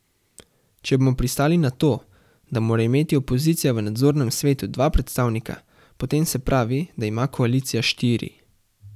Če bomo pristali na to, da mora imeti opozicija v nadzornem svetu dva predstavnika, potem se pravi, da ima koalicija štiri.